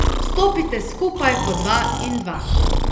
Stopite skupaj po dva in dva.